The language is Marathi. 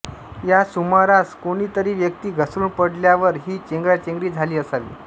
या सुमारास कोणी तरी व्यक्ती घसरुन पडल्यावर ही चेंगराचेंगरी झाली असावी